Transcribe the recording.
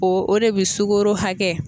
O o de bi sugoro hakɛ